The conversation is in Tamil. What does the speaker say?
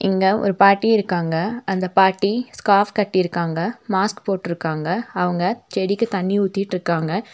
இங்க ஒரு பாட்டி இருக்காங்க அந்த பாட்டி ஸ்கார்ஃப் கட்டிருக்காங்க மாஸ்க் போட்டுருக்காங்க அவங்க செடிக்கு தண்ணி ஊத்திட்டுருக்காங்க.